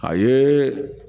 A ye